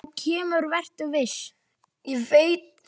En það kemur, vertu viss.